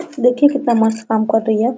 देखिए कितना मस्त काम कर रही है ।